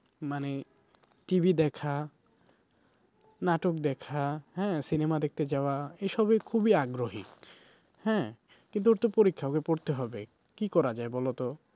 মানে TV দেখা নাটক দেখা হ্যাঁ cinema দেখতে যাওয়া এসবে খুবই আগ্রহী হ্যাঁ কিন্তু ওর তো পরীক্ষা ওকে পড়তে হবে কি করা যায় বলোতো?